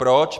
Proč?